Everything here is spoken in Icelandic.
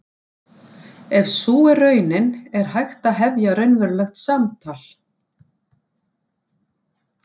Ef sú er raunin er hægt að hefja raunverulegt samtal.